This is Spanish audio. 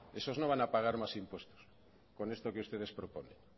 esos no van a pagar más impuestos con esto que ustedes proponen